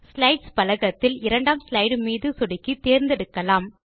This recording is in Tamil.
ஸ்லைட்ஸ் பலகத்தில் இரண்டாம் ஸ்லைடு மீது சொடுக்கி தேர்ந்தெடுக்கலாம்